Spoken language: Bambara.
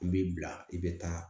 U b'i bila i bɛ taa